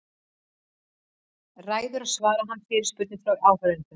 Milli þess sem hann heldur ræður svarar hann fyrirspurnum frá áheyrendum.